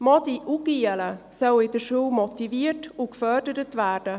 Mädchen und Knaben sollen in der Schule motiviert und gefördert werden.